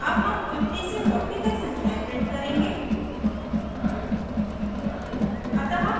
अब हम 50 से 40 तक संख्याएं print करेंगे